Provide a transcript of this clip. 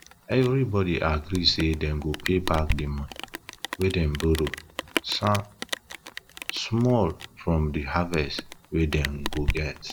everybody agree say dem go pay back de money wey dem borrow samm small from the haverst wey dem go get